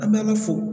An b'a fo